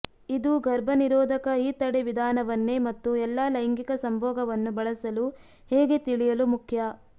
ಇದು ಗರ್ಭನಿರೋಧಕ ಈ ತಡೆ ವಿಧಾನವನ್ನೇ ಮತ್ತು ಎಲ್ಲಾ ಲೈಂಗಿಕ ಸಂಭೋಗವನ್ನು ಬಳಸಲು ಹೇಗೆ ತಿಳಿಯಲು ಮುಖ್ಯ